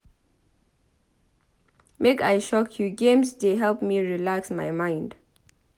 Make I shock you games dey help me relax my mind.